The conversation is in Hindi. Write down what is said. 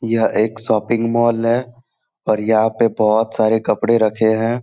यह एक शॉपिंग मॉल है और यहां पे बहुत सारे कपड़े रखे हैं।